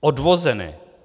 Odvozené.